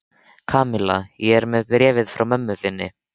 Kamilla, ég er með bréfið frá mömmu þinni.